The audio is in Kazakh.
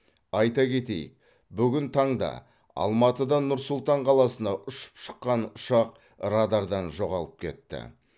айта кетейік бүгін таңда алматыдан нұр сұлтан қаласына ұшып шыққан ұшақ радардан жоғалып кетті